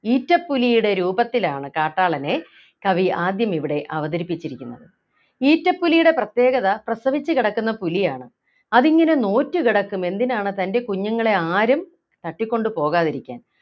ഈറ്റപ്പുലിയുടെ രൂപത്തിലാണ് കാട്ടാളനെ കവി ആദ്യമിവിടെ അവതരിപ്പിച്ചിരിക്കുന്നത് ഈറ്റപ്പുലിയുടെ പ്രത്യേകത പ്രസവിച്ചു കിടക്കുന്ന പുലിയാണ് അതിങ്ങനെ നോറ്റ് കിടക്കും എന്തിനാണ് തൻ്റെ കുഞ്ഞുങ്ങളെ ആരും തട്ടിക്കൊണ്ടു പോകാതിരിക്കാൻ